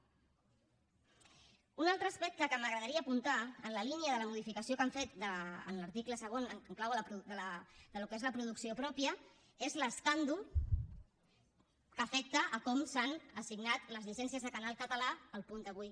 un altre aspecte que m’agradaria apuntar en la línia de la modificació que han fet en l’article segon en clau del que és la producció pròpia és l’escàndol que afecta com s’han assignat les llicències de canal català a el punt avui